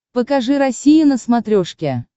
покажи россия на смотрешке